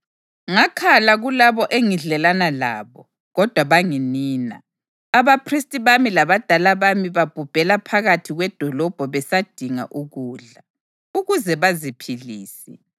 Ngakhala kulabo engidlelana labo, kodwa banginina. Abaphristi bami labadala bami babhubhela phakathi kwedolobho besadinga ukudla, ukuze baziphilise.